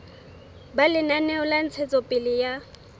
ba lenaneo la ntshetsopele ya